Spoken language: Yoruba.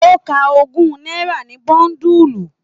O ká ogún náírà ní bóndulu.